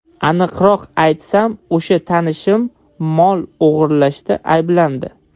Aniqroq aytsam, o‘sha tanishim mol o‘g‘irlashda ayblandi.